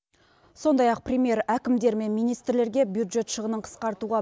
сондай ақ премьер әкімдер мен министрлерге бюджет шығынын қысқартуға